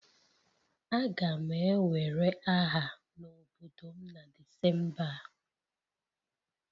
Aga m ewere aha n'obodo m na Disemba a